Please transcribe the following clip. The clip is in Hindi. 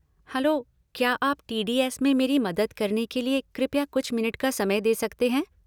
हेलो, क्या आप टी.डी.एस. में मेरी मदद करने के लिए कृपया कुछ मिनट का समय दे सकते हैं?